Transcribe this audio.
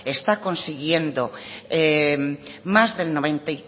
está consiguiendo más